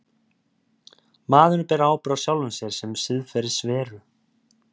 Maðurinn ber ábyrgð á sjálfum sér sem siðferðisveru.